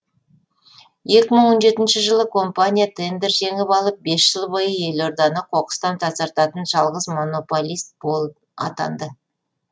екі мың он жетінші жылы компания тендер жеңіп алып бес жыл бойы елорданы қоқыстан тазартатын жалғыз монополист атанды